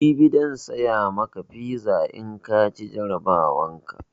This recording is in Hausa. Jibi zan siya maka fiza in kaci jarabawan ka